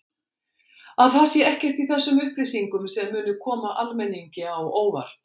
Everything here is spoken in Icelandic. Að það sé ekkert í þessum upplýsingum sem muni koma almenningi á óvart?